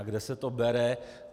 A kde se to bere.